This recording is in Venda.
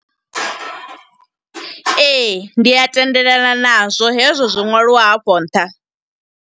Ee, ndi a tendelana nazwo. Hezwo zwo ṅwaliwaho hafho nṱha.